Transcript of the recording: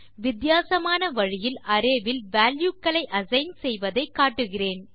வித்தியாசமான வழியில் அரே வில் வால்யூ க்களை அசைன் செய்வதை காட்டுகிறேன்